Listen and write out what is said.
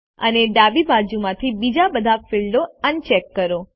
અને ડાબી બાજુ માંથી બીજા બધા ફીલ્ડો અનચેક કરો